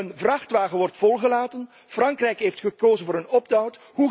Een vrachtwagen wordt volgeladen. Frankrijk heeft gekozen voor een opt out.